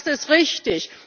Das ist richtig!